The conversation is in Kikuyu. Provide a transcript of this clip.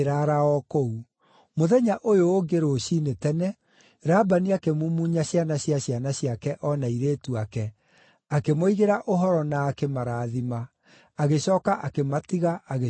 Mũthenya ũyũ ũngĩ rũciinĩ tene, Labani akĩmumunya ciana cia ciana ciake o na airĩtu ake, akĩmoigĩra ũhoro na akĩmarathima. Agĩcooka akĩmatiga agĩcooka gwake mũciĩ.